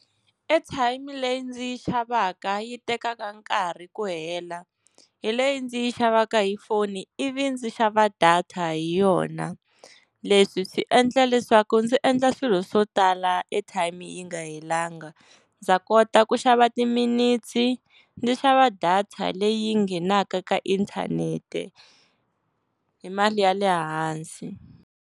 Airtime leyi ndzi yi xavaka yi tekaka nkarhi ku hela, hi leyi ndzi yi xavaka hi foni ivi ndzi xava data hi yona. Leswi swi endla leswaku ndzi endla swilo swo tala airtime yi nga helanga, ndza kota ku xava timinete ndzi xava data leyi nghenaka ka inthanete hi mali ya le hansi.